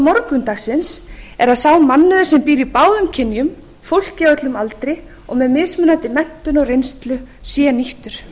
morgundagsins eru að sá mannauður sem býr í báðum kynjum fólki á öllum aldri og með mismunandi menntun og reynslu sé nýttur